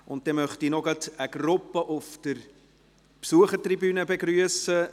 Zudem möchte ich eine Gruppe auf der Besuchertribüne begrüssen.